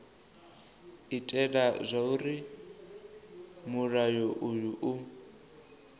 itela zwauri mulayo uyu u